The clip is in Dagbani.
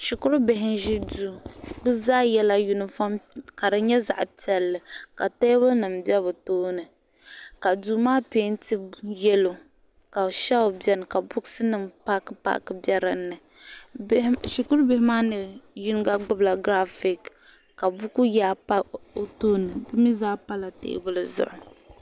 Shikuru bihi n ʒi duu bɛ zaa yela yunifom ka di nyɛ zaɣa piɛlli ka teebuli nima be bɛ tooni ka duu maa penti yelo ka shilfi biɛni ka bukunima paaki paaki paaki be dinni shikuru bihi maa ni yinga gbibila girafiki ka buku yaa pa o tooni di mee zaa pala teebuli zuɣu.